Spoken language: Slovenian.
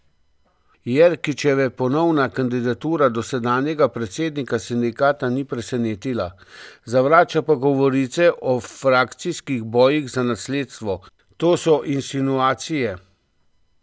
Jerkičeve ponovna kandidatura dosedanjega predsednika sindikata ni presenetila, zavrača pa govorice o frakcijskih bojih za nasledstvo: 'To so insinuacije.